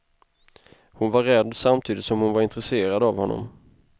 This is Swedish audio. Hon var rädd samtidigt som hon var intresserad av honom.